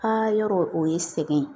A yɔrɔ o ye sɛgɛn ye